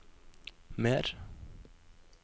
mer